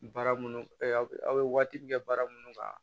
Baara munnu aw bɛ aw bɛ waati min kɛ baara minnu kan